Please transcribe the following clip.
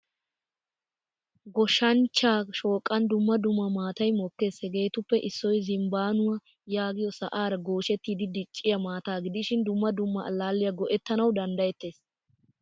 Goshshanchcha shooqan dumma dumma maataay mokkees. Hegeetuppe issoy zinbbaanuwaa yaagiyo sa'aara goshshettidi dicciyaa maataa gidishin dumma dumma allaliyaa go'ettanawu danddayettees.